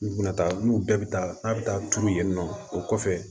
N'u bɛna taa n'u bɛɛ bɛ taa n'a bɛ taa tuuru yen nɔ o kɔfɛ